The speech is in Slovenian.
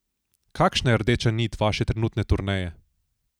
Kakšna je rdeča nit vaše trenutne turneje?